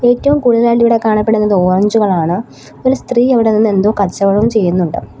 ഏറ്റവും കൂടുതലായിട്ട് ഇവിടെ കാണപ്പെടുന്നത് ഓറഞ്ചുകളാണ് ഒരു സ്ത്രീ അവിടെ നിന്ന് എന്തോ കച്ചവടം ചെയ്യുന്നുണ്ട്.